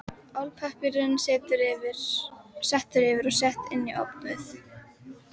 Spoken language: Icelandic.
Álpappír settur yfir og sett inn í ofn við